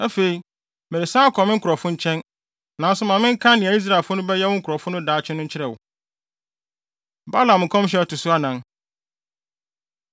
Afei, meresan akɔ me nkurɔfo nkyɛn. Nanso ma menka nea Israelfo no bɛyɛ wo nkurɔfo no daakye no nkyerɛ wo.” Balaam Nkɔmhyɛ A Ɛto So Anan